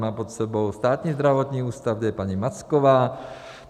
Má pod sebou Státní zdravotní ústav, kde je paní Macková.